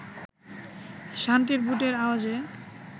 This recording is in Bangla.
সান্ত্রীর বুটের আওয়াজে